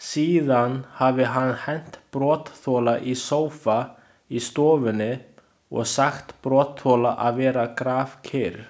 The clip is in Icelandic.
Síðan hafi hann hent brotaþola í sófa í stofunni og sagt brotaþola að vera grafkyrr.